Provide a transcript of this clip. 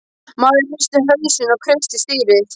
Maðurinn hristi hausinn og kreisti stýrið.